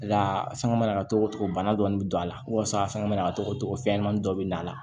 La sanga na ka togo togo bana dɔɔni bɛ don a la walasa sangɔ mana na ka togo togo fɛnɲɛnamanin dɔ bɛ na a la